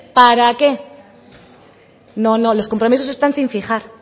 para qué no no los compromisos están sin fijar